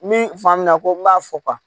Min faamuya ko n b'a fɔ